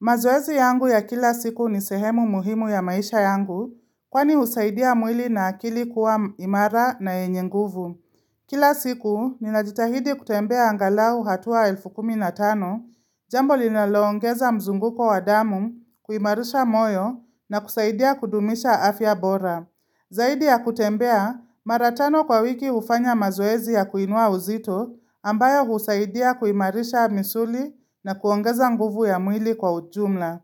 Mazoezi yangu ya kila siku ni sehemu muhimu ya maisha yangu, kwa ni husaidia mwili na akili kuwa imara na enyenguvu. Kila siku, ninajitahidi kutembea angalau hatua elfu kuminatano, jambo linaloongeza mzunguko wadamu, kuimarisha moyo na kusaidia kudumisha afya bora. Zaidi ya kutembea maratano kwa wiki ufanya mazoezi ya kuinua uzito ambayo husaidia kuimarisha misuli na kuongeza nguvu ya mwili kwa ujumla.